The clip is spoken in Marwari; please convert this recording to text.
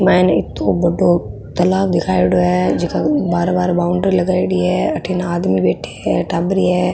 मायन इत्तो बड़ों तलाब दिखायेड़ो है जेका बाहर बाहर बॉउंड्री लगायेडी है अठीन आदमी बैठे है टाबरिया है।